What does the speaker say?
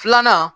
Filanan